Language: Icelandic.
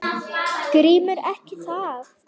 GRÍMUR: Ekki það?